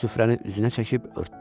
Süfrəni üzünə çəkib örtdü.